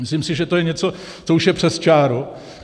Myslím si, že to je něco, co už je přes čáru.